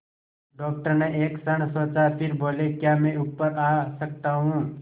doctor ने एक क्षण सोचा फिर बोले क्या मैं ऊपर आ सकता हूँ